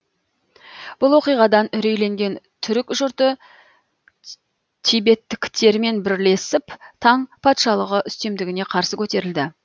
бұл оқиғадан үрейленген түрік жұрты тибеттіктермен бірлесіп таң патшалығы үстемдігіне қарсы көтерілді